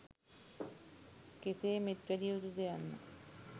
කෙසේ මෙත් වැඩිය යුතුද යන්න